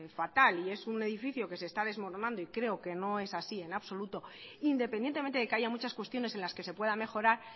fatal y es un edificio que se está desmoronando y creo que no es así en absoluto independientemente de que haya muchas cuestiones en las que se pueda mejorar